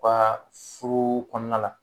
U ka furu kɔnɔna la.